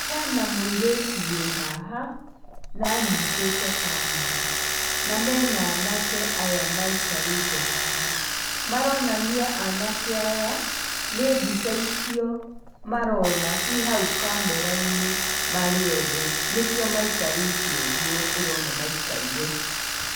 Hena mũirĩtu wĩ haha, na anyitĩte camera na mena anake aya maikarĩte haha. Maronania anake aya nĩ mbica icio marona ciĩhau camera -nĩ marĩ othe, nĩkĩo maikarĩte ũguo ũrona maikaire.